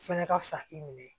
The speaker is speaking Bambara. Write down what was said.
Fɛnɛ ka fisa i minɛ